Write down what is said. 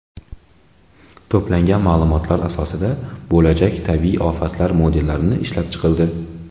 To‘plangan ma’lumotlar asosida bo‘lajak tabiiy ofatlar modellari ishlab chiqildi.